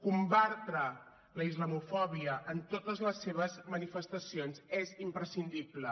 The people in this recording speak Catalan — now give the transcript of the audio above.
combatre la islamofòbia en totes les seves manifestacions és imprescindible